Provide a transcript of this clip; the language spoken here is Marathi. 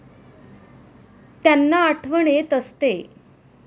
त्यांना आठवण येत असते.